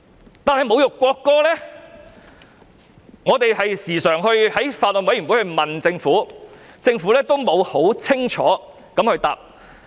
但是，關於侮辱國歌的定義，我們時常在法案委員會問政府，政府都沒有清楚回答。